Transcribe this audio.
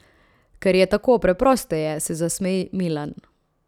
Ker je tako preprosteje, se zasmeji Milan.